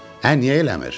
Ə niyə eləmir?